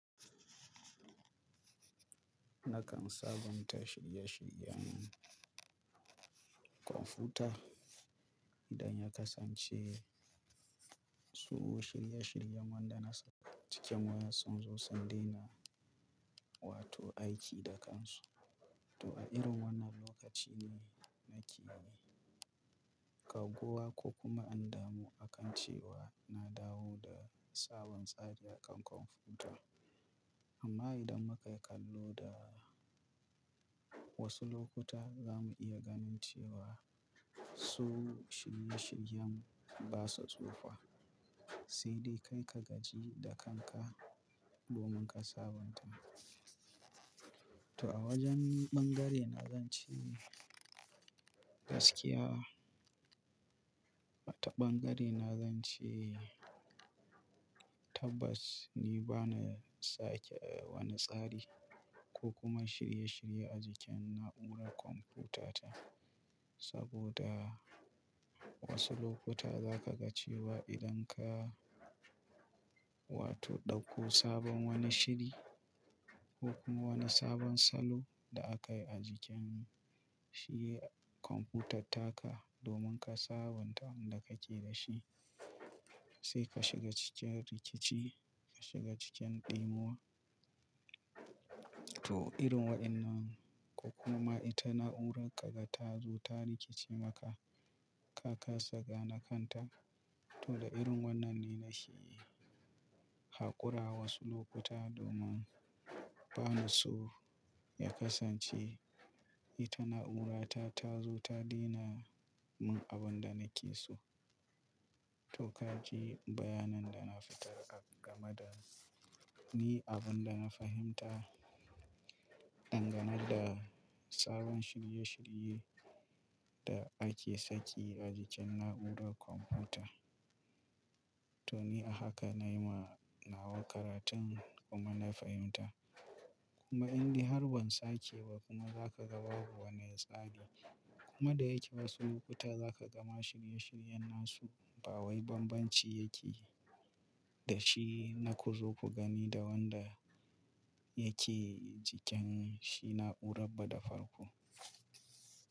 Nakan sabunta shirye-shiryen kwamfuta idan ya kasance. Su shirye-shiryen wanda na saka cikin wa ya sun zo sun daina wato aiki da kansu. To a irin wannan lokaci ne nake gagguwa ko kuma in damu akan cewa na dawo da sabon tsari a kan kwamfuta. Amma idan muka kallo da wasu lokuta za mu iya ganin cewa su shirye-shiryen basa tsufa. Sai dai kai ka gaji da kanka domin ka sabunta. To a wajen bangare na zan ce gaskiya, a ta bangare na zan ce tabbas ni bana sake wani tsari ko kuma shirye-shirye a jikin na'urar kwamfutata. Saboda wasu lokuta za ka ga cewa idan ka wato ɗauko sabon wani shiri ko kuma wani sabon salo da aka yi a jikin shi kwamfutar taka domin ka sabunta wanda kake da shi. Sai ka shiga cikin rikici, ka shiga cikin ɗimuwa. To irin wa'innan ko kuma ita na'urar ka ta zo ta rikice maka, ka kasa gane kan ta. To da irin wannan ne nake haƙura wasu lokuta domin bani so ya kasance ita na'urata ta zo ta dena min abun da nake so. To ka ji bayanin da na fitar a game da ni abun da na fahimta dangane da sabon shirye-shirye da ake saki a jikin na'urar kwamfuta. To ni a haka na yi ma nawa karatun, kuma na fahimta. Kuma indai harban sake ba kuma za ka ga babu wani tsari. Kuma da yake wasu lokuta za ka gama shirye-shiryen nasu ba wai banbanci yake da shi na ku zo ku gani da wanda yake jikin shi na'urar ba da farko.